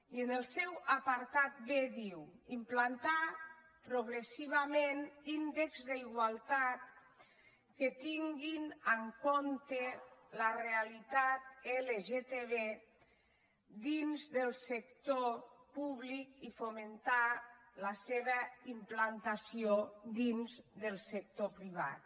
i en el seu apartat b diu implantar progressivament índexs d’igualtat que tinguin en compte la realitat lgtb dins del sector públic i fomentar la seva implantació dins del sector privat